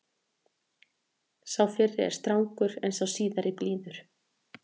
Sá fyrri er strangur en sá síðari blíður.